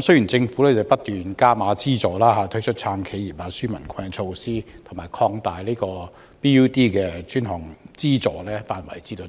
雖然政府不斷增加資助額，推出"撐企業、紓民困"的措施，又擴大 BUD 專項基金的資助範圍以涵蓋